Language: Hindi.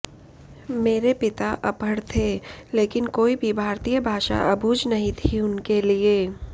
मेरे पिता अपढ़ थे लेकिन कोई भी भारतीय भाषा अबूझ नहीं थी उनके लिए